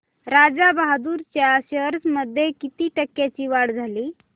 राजा बहादूर च्या शेअर्स मध्ये किती टक्क्यांची वाढ झाली